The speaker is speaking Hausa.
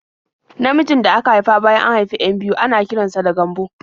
Namijin da aka haifa bayan an haifi 'yan biyu ana kiran sa da Gambo.